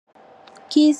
Kisi pona kopesa nzala.